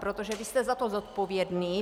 Protože vy jste za to zodpovědný.